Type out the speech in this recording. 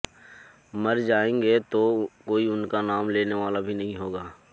मर जाएँगे तो कोई उनका नाम लेने वाला भी नहीं होगा